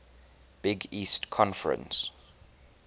big east conference